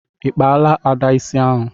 ịkpala Ada isi ahụ